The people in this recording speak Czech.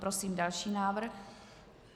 Prosím další návrh.